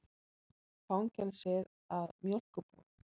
Fangelsið að mjólkurbúð.